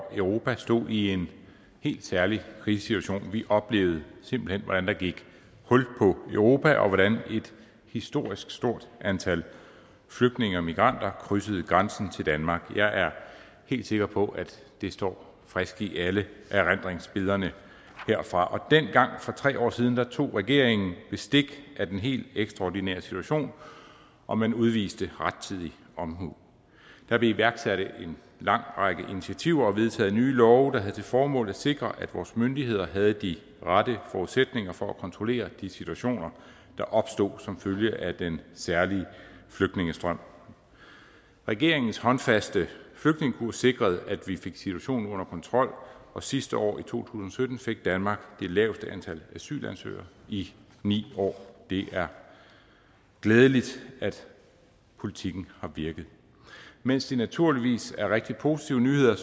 europa stod i en helt særlig krisesituation vi oplevede simpelt hen hvordan der gik hul på europa og hvordan et historisk stort antal flygtninge og migranter krydsede grænsen til danmark jeg er helt sikker på at det står friskt i alle erindringsbillederne herfra dengang for tre år siden tog regeringen bestik af den helt ekstraordinære situation og man udviste rettidig omhu der blev iværksat en lang række initiativer og vedtaget nye love der havde til formål at sikre at vores myndigheder havde de rette forudsætninger for at kontrollere de situationer der opstod som følge af den særlige flygtningestrøm regeringens håndfaste flygtningekurs sikrede at vi fik situationen under kontrol og sidste år i to tusind og sytten fik danmark det laveste antal asylansøgere i ni år det er glædeligt at politikken har virket mens det naturligvis er rigtig positive nyheder